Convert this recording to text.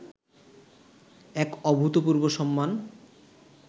এক অভূতপূর্ব সম্মান